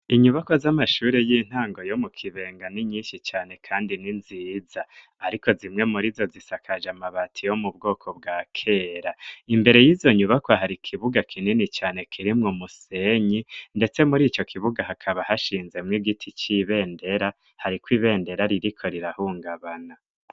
Inyubako z'amashuri y'intango yo mu Kibenga n'inyinshi cane kandi ninziza ariko zimwe muri zo zisakaje amabati yo mu bwoko bwa kera imbere y'izo nyubako hari kibuga kinini cane kirimw musenyi ndetse muri icyo kibuga hakaba hashinze mw igiti cy'ibendera hariko ibendera ririko rirahungabana.